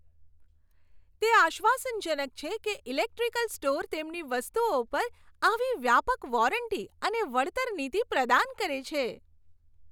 તે આશ્વાસનજનક છે કે ઇલેક્ટ્રિકલ સ્ટોર તેમની વસ્તુઓ પર આવી વ્યાપક વોરંટી અને વળતર નીતિ પ્રદાન કરે છે.